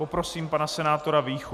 Poprosím pana senátora Víchu.